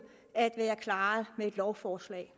at være klaret med et lovforslag